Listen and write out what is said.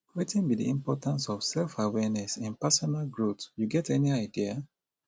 wetin be di importance of selfawareness in personal growth you get any idea